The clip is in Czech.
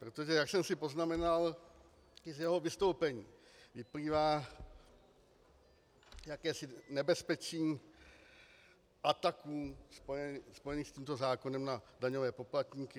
Protože, jak jsem si poznamenal, i z jeho vystoupení vyplývá jakési nebezpečí ataků spojených s tímto zákonem na daňové poplatníky.